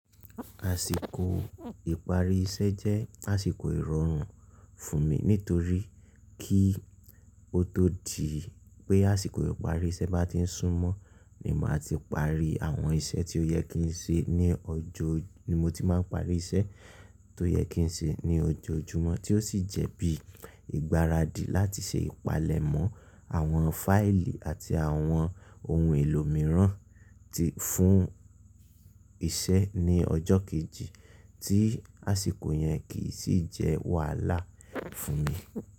Àsìkò ìparí iṣẹ́ jẹ́ àsìkò ìrọ̀rùn fún mi nítorí kí o tó di pé àsìkò ìparí iṣẹ́ bá ti ń súmọ́, ni màá ti parí àwọn iṣẹ́ tí ó yẹ kí n ṣe ní ọjọ́ ni mo ti máa ń parí iṣẹ́ tó yẹ kí n ṣe ní ọjoojúmọ́ tí ó sì jẹ́ bí ìgbáradì láti ṣe ìpalẹ̀mọ́ àwọn fáìlì àti àwọn ohun èlò mìíràn tí fún iṣẹ́ ní ọjọ́ kejì tí àsìkò yẹn kì í sì jẹ́ wàhálà fún mi.